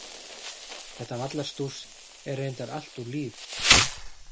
Þetta vallarstúss er reyndar allt úr Líf.